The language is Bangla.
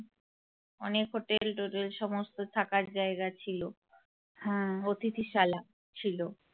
অনেক hotel টোটেল সমস্ত থাকার জায়গা ছিল অতিথিশালা ছিল।